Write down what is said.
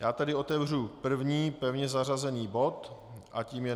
Já tedy otevřu první pevně zařazený bod a tím je